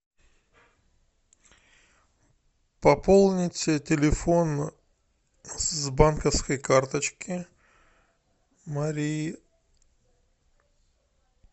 пополнить телефон с банковской карточки марии